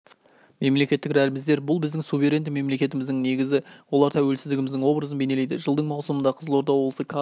мемлекеттік рәміздер бұл біздің суверенді мемлекетіміздің негізі олар тәуелсіздігіміздің образын бейнелейді жылдың маусымында қызылорда облысы кадр